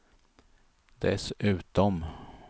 dessutom